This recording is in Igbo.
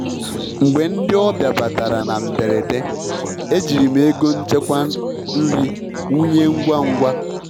Mgbe ndị ọbịa batara na mberede, ejiri m ego nchekwa nri wụnye ngwa ngwa.